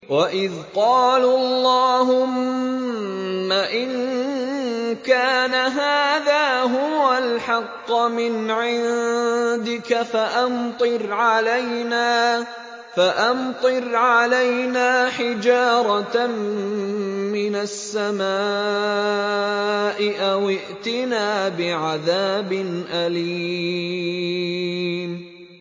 وَإِذْ قَالُوا اللَّهُمَّ إِن كَانَ هَٰذَا هُوَ الْحَقَّ مِنْ عِندِكَ فَأَمْطِرْ عَلَيْنَا حِجَارَةً مِّنَ السَّمَاءِ أَوِ ائْتِنَا بِعَذَابٍ أَلِيمٍ